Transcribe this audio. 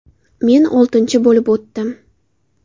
Men oltinchi bo‘lib o‘tdim.